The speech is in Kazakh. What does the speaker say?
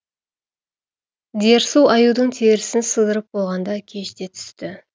дерсу аюдың терісін сыдырып болғанда кеш те түсті